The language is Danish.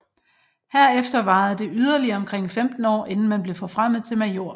Herefter varede det yderligere omkring 15 år inden man blev forfremmet til major